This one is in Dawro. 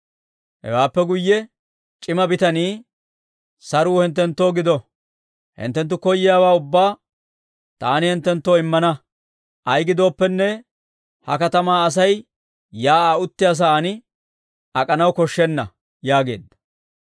Hewaappe guyye c'ima bitanii, «Saruu hinttenttoo gido; hinttenttu koyiyaawaa ubbaa taani hinttenttoo immana; ayaa gidooppenne, ha katamaa Asay shiik'uwaa uttiyaa sa'aan ak'anaw koshshenna» yaageedda.